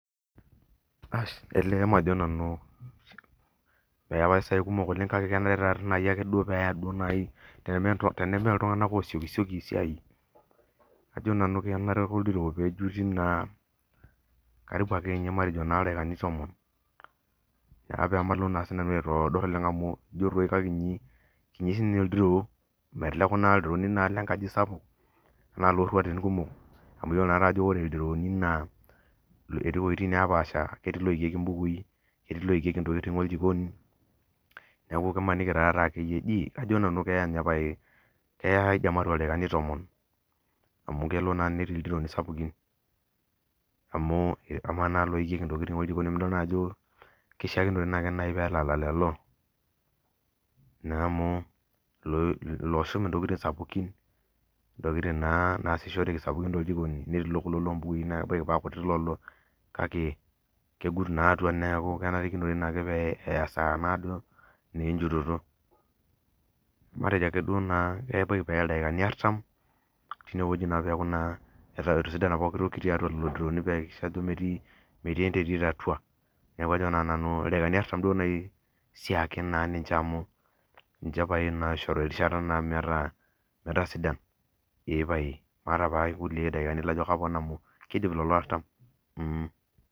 Elee majo nanu eetae sidai kumok oleng kake ikenayi tenemeltunganak osiokisioki esiai kajo ake nanu enare oldiro pe matejo nkatitin tomon pamalo aitodorop amu kiti sinye oldiroo pamalo aitodor amu iyiolo ajo ore ldironi netii loikieki mbukui netii loikieki ntokitin ejikoni neaku imaniki taatoi keya ldaikami tomon amu ketii naa ldiroi sapukin amu amaa naa loikieki ntokitin oljiko kenare nelalal lolo na amu losh ntokitin sapukin ntokitin nasishoreki tejikoni netii kulo kutitik kake kegut naaduo eya enkata naado enjutoto matejo keya ildakina arsam peya na peaku metii enterit atua neaku kajo nanu ildaikani asram ake eya pisho erishata metaa eepae nona ake aidim atejo amu kidip si ldaikaini artham